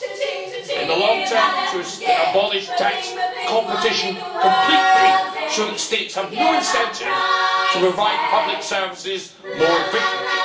and in the long term, to abolish tax competition completely so that states have no incentive to provide public services more efficiently.